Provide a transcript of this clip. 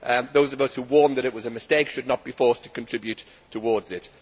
Those of us who warned that it was a mistake should not be forced to contribute to it.